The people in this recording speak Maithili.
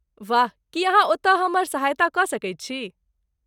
वाह! की अहाँ ओतय हमर सहायता कऽ सकैत छी?